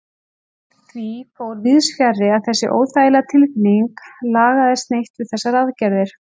En því fór víðsfjarri að þessi óþægilega tilfinning lagaðist neitt við þessar aðgerðir.